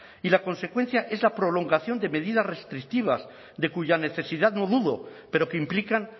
y la consecuencia es la prolongación de medidas restrictivas de cuya necesidad no dudo pero que implican